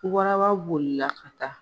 Waraba bolila ka taa.